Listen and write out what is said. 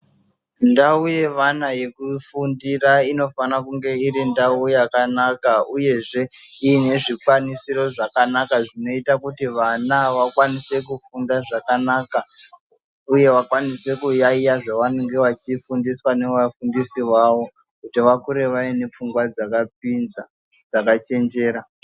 Ndau yevana yekufundira inofana kunge iri ndau yakanaka uyezve iine zvikwanisiro zvakanaka zvinoita kuti vana vakwanise kufunda zvakanaka, uye vakwanise kuyaiya zvavanenge vachifundiswa nevafundisi vavo kuti vakure vaine pfungwa dzakapinza, dzakachenjera.